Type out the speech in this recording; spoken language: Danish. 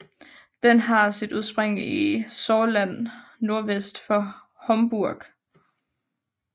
Den har sit udsprig i Saarland nordvest for Homburg